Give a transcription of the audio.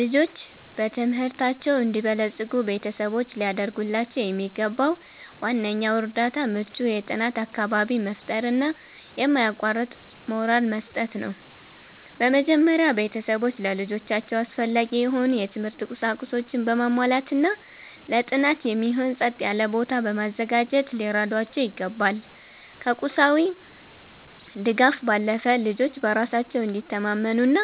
ልጆች በትምህርታቸው እንዲበለጽጉ ቤተሰቦች ሊያደርጉላቸው የሚገባው ዋነኛው እርዳታ ምቹ የጥናት አካባቢን መፍጠርና የማያቋርጥ ሞራል መስጠት ነው። በመጀመሪያ፣ ቤተሰቦች ለልጆቻቸው አስፈላጊ የሆኑ የትምህርት ቁሳቁሶችን በማሟላትና ለጥናት የሚሆን ጸጥ ያለ ቦታ በማዘጋጀት ሊረዷቸው ይገባል። ከቁሳዊ ድጋፍ ባለፈ፣ ልጆች በራሳቸው እንዲተማመኑና